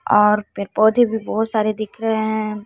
और पेड़ पौधे भी बहोत सारे दिख रहे हैं।